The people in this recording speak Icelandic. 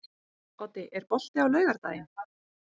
Oddi, er bolti á laugardaginn?